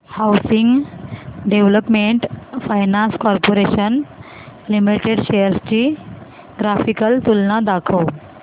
housing development finance corporation limited shares ची graphical तुलना दाखव